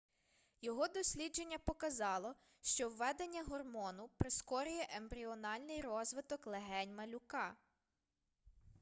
його дослідження показало що введення гормону прискорює ембріональний розвиток легень малюка